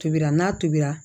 Tobira n'a tobira